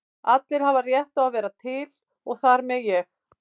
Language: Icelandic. Allir hafa rétt á að vera til og þar með ég.